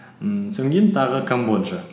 ммм тағы камбоджа